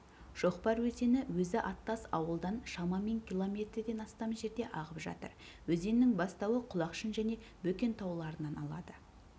шоқпар өзені өзі аттас ауылдан шамамен км-ден астам жерде ағып жатыр өзеннің бастауы құлақшын және бөкен тауларынан алады